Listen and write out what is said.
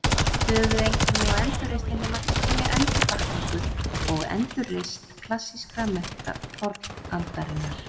Höfuðeinkenni á endurreisninni mætti telja endurvakningu og endurreisn klassískra mennta fornaldarinnar.